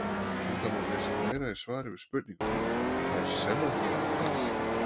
Um það má lesa meira í svari við spurningunni Er sellófan plast?